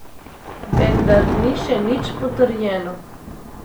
Vendar ni še nič potrjeno.